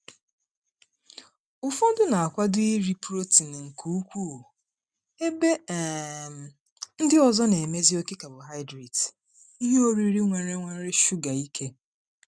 Ụfọdụ na-akwado iri protein nke ukwuu, ebe um ndị ọzọ na-emesi oke carbohydrate (ihe oriri nwere nwere shuga) ike.